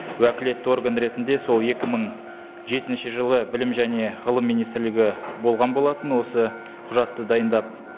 уәкілетті орган ретінде сол екі мың жетінші жылы білім және ғылым министрлігі болған болатын осы құжатты дайындап